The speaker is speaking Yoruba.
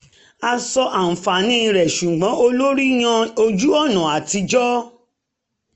a sọ àǹfààní rẹ̀ ṣùgbọ́n olórí yan ojú-ọ̀nà atijọ́